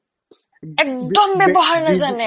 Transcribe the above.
একদম ব্যৱহাৰ নাজানে